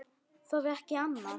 Þorði ekki annað.